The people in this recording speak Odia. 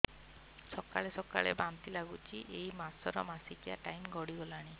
ସକାଳେ ସକାଳେ ବାନ୍ତି ଲାଗୁଚି ଏଇ ମାସ ର ମାସିକିଆ ଟାଇମ ଗଡ଼ି ଗଲାଣି